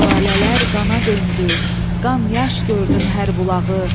Şəlalələr qana döndü, qan yaş gördüm hər bulağı.